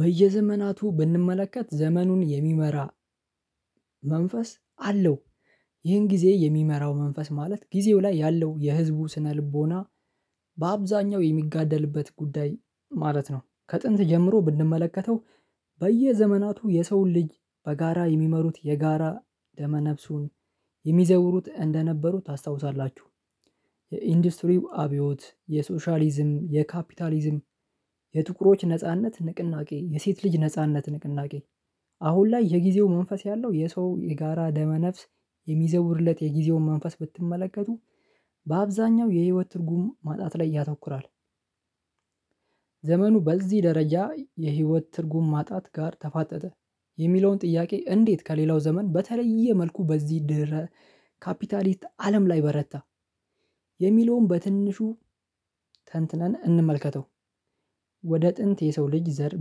በየዘመናቱ ብንመለከት ዘመኑን የሚመራ መንፈስ አለው ይህን ጊዜ የሚመራው መንፈስ ማለት ጊዜው ላይ ያለው የህዝቡ ስነልቦና በአብዛኛው የሚጋደልበት ጉዳይ ማለት ነው። ከጥንት ጀምሮ ብንመለከተው በየዘመናቱ የሰውን ልጅ በጋራ የሚመሩት የጋራ ደመ ነፍሱን የሚዘውሩት እንደነበሩ ታስታውሳላችሁ። የኢንዱስትሪው አብዮት የሶሻሊዝም የካፒታሊዝም የጥቁሮች ነጻነት ንቅናቄ የሴት ልጅ ነጻነት ንቅናቄ። አሁን ላይ የጊዜው መንፈስ ያለው የሰው የጋራ ደመ ነፍስ የሚዘውርለት የጊዜውን መንፈስ ብትመለከቱ በአብዛኛው የህይወት ትርጉም ማጣት ላይ ያተኩራል። ዘመኑ በዚህ ደረጃ የህይወት ትርጉም ማጣት ጋር ተፋጠጠ። የሚለውን ጥያቄ እንዴት ከሌላው ዘመን በተለየ መልኩ በዚህ ድህረ ካፒታሊስት አለም ላይ በረታ። የሚለውን በትንሹ ተንትነን እንመልከተው። ወደ ጥንት የሰው ልጅ ዘር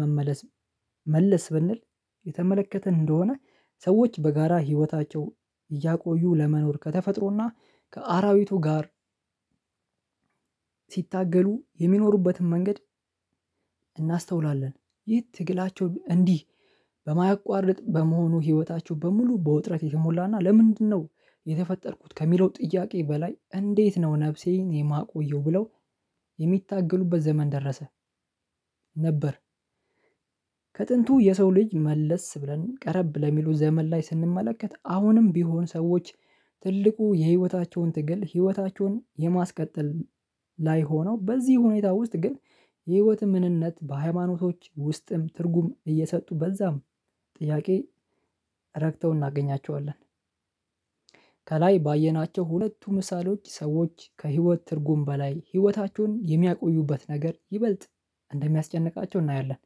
መመለስ መለስ ብንል የተመለከተን እንደሆነ ሰዎች በጋራ ህይወታቸው እያቆዩ ለመኖር ከተፈጥሮና ከአራዊቱ ጋር ሲታገሉ የሚኖሩበትን መንገድ እናስተውላለን። ይህ ትግላቸው እንዲህ በማያቋርጥ በመሆኑ ህይወታቸው በሙሉ በወጥረት የሞላና ለምንድነው የተፈጠርኩት ከሚለው ጥያቄ በላይ እንዴት ነው ነፍሴን የማቆየው ብለው የሚታገሉበት ዘመን ደረሰ። ነበር። ከጥንቱ የሰው ልጅ መለስ ብለን ቀረብ ለሚሉ ዘመን ላይ ስንመለከት አሁንም ቢሆን ሰዎች ትልቁ የህይወታቸውን ትግል ህይወታቸውን የማስቀጠል ላይ ሆነው በዚህ ሁኔታ ውስጥ ግን የህይወት ምንነት በሃይማኖቶች ውስጥም ትርጉም እየሰጡ በዛም ጥያቄ ረግተው እናገኛቸዋለን። ከላይ ባየናቸው ሁለቱ ምሳሌዎች ሰዎች ከህይወት ትርጉም በላይ ህይወታችሁን የሚያቆዩበት ነገር ይበልጥ እንደሚያስጨንቃቸው እናያለን።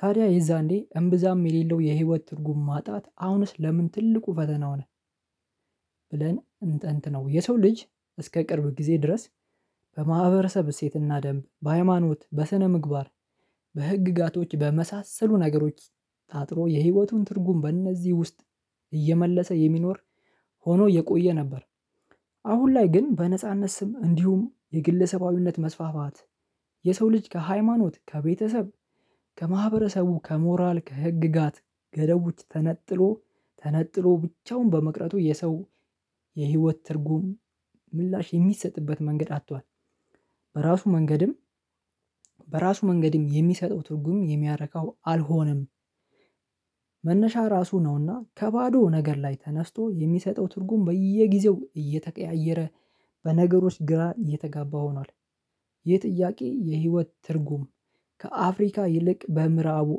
ታዲያ የዛኔ እምብዛም የሌለው የህይወት ትርጉም ማጣት አሁንስ ለምን ትልቁ ፈተና ሆነ? ብለን እንተንትነው የሰው ልጅ እስከ ቅርብ ጊዜ ድረስ በማህበረሰብ እሴትና ደንብ በሃይማኖት በስነ ምግባር በህግጋቶች በመሳሰሉ ነገሮች ታጥሮ የህይወቱን ትርጉም በእነዚህ ውስጥ እየመለሰ የሚኖር ሆኖ የቆየ ነበር። አሁን ላይ ግን በነጻነት ስም እንዲሁም የግለሰባዊነት መስፋፋት የሰው ልጅ ከሃይማኖት ከቤተሰብ ከማህበረሰቡ ከሞራል ከህግጋት ገደቡች ተነጥሎ ተነጥሎ ብቻውን በመቅረቱ የሰው የህይወት ትርጉም ምላሽ የሚሰጥበት መንገድ አጥቷል። በራሱ መንገድም በራሱ መንገድም የሚሰጠው ትርጉም የሚያረካው አልሆነም። መነሻ ራሱ ነውና ከባዶ ነገር ላይ ተነስቶ የሚሰጠው ትርጉም በየጊዜው እየተቀያየረ በነገሮች ግራ እየተጋባ ሆኗል። ይህ ጥያቄ የህይወት ትርጉም ከአፍሪካ ይልቅ በምዕራቡ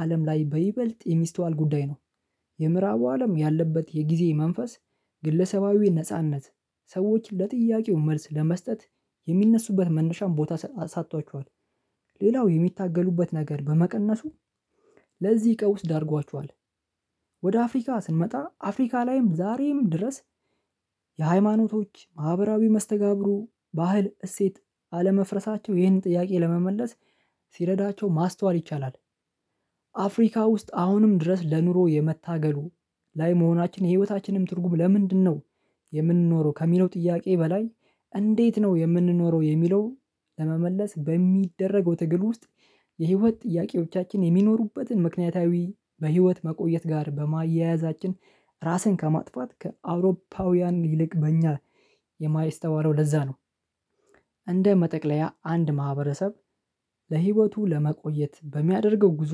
አለም ላይ በይበልጥ የሚስተዋል ጉዳይ ነው። የምዕራቡ አለም ያለበት የጊዜ መንፈስ ግለሰባዊ ነጻነት ሰዎች ለጥያቄው መልስ ለመስጠት የሚነሱበት መነሻም ቦታ አሳጥቷቸዋል። ሌላው የሚታገሉበት ነገር በመቀነሱ ለዚህ ቀውስ ዳርጓቸዋል። ወደ አፍሪካ ስንመጣ አፍሪካ ላይም ዛሬም ድረስ የሃይማኖቶች ማህበራዊ መስተጋብሩ ባህል እሴት አለመፍረሳቸው ይህንን ጥያቄ ለመመለስ ሲረዳቸው ማስተዋል ይቻላል። አፍሪካ ውስጥ አሁንም ድረስ ለኑሮ የመታገሉ ላይ መሆናችን የህይወታችንም ትርጉም ለምንድነው የምንኖረው ከሚለው ጥያቄ በላይ እንዴት ነው የምንኖረው የሚለውን ለመመለስ በሚደረገው ትግል ውስጥ የህይወት ጥያቄዎቻችን የሚኖሩበትን ምክንያታዊ በህይወት መቆየት ጋር በማያያዛችን ራስን ከማጥፋት ከአውሮፓውያን ይልቅ በእኛ የማይስተዋለው ለዛ ነው። እንደ መጠቅለያ አንድ ማህበረሰብ በህይወቱ ለመቆየት በሚያደርገው ጉዞ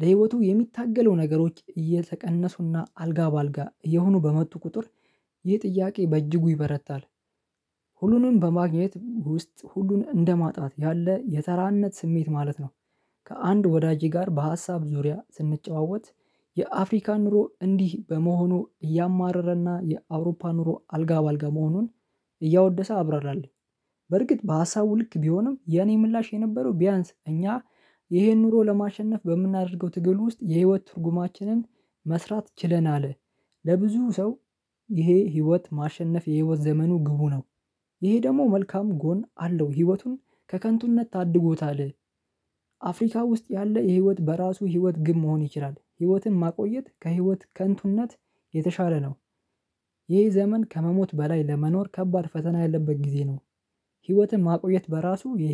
ለህይወቱ የሚታገለው ነገሮች እየተቀነሱና አልጋ በአልጋ እየሆኑ በመጡ ቁጥር ይህ ጥያቄ በእጅጉ ይበረታል። ሁሉንም በማግኘት ውስጥ ሁሉን እንደ ማጣት ያለ የተራነት ስሜት ማለት ነው። ከአንድ ወዳጄ ጋር በሀሳብ ዙሪያ ስንጨዋወት የአፍሪካ ኑሮ እንዲህ በመሆኑ እያማረረና የአውሮፓ ኑሮ አልጋ በአልጋ መሆኑን እያወደሰ አብረራለኝ። በርግጥ በሀሳቡ ልክ ቢሆንም የኔ ምላሽ የነበረው ቢያንስ እኛ ይሄን ኑሮ ለማሸነፍ በምናደርገው ትግል ውስጥ የህይወት ትርጉማችንን መስራት ችለናል። ለብዙ ሰው ይሄ ህይወት ማሸነፍ የህይወት ዘመኑ ግቡ ነው። ይሄ ደግሞ መልካም ጎን አለው ህይወቱን ከከንቱነት ታድጎታል። አፍሪካ ውስጥ ያለ ይሄ ህይወት በራሱ የህይወት ግብ መሆን ይችላል ህይወትን ማቆየት ከህይወት ከንቱነት የተሻለ ነው። ይህ ዘመን ከመሞት በላይ ለመኖር ከባድ ፈተና ያለበት ጊዜ ነው። ህይወትን ማቆየት በራሱ የ